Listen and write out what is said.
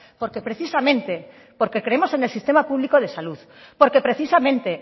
porque precisamente porque creemos en el sistema público de salud porque precisamente